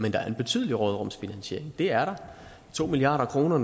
men der er en betydelig råderumsfinansiering det er der to milliard kroner